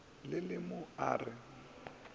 le le mo a re